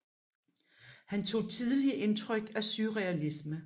Han tog tidlig intryk av surrealisme